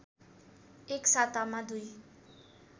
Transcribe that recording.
एक सातामा दुई